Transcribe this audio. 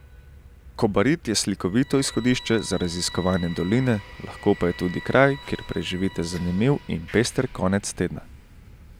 Kobarid je slikovito izhodišče za raziskovanje doline, lahko pa je tudi kraj, kjer preživite zanimiv in pester konec tedna.